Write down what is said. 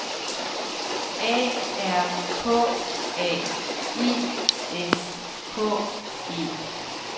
A R K A I S K E